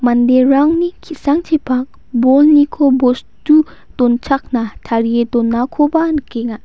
manderangni ki·sangchipak bolniko bostu donchakna tarie donakoba nikenga.